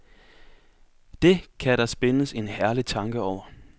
Det kan der spindes en herlig tanke over.